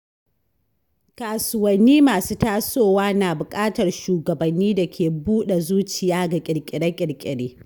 Kasuwanni masu tasowa na bukatar shugabanni da ke buɗe zuciya ga kirkire-kirkire.